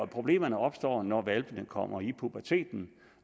problemerne opstår når hvalpene kommer i puberteten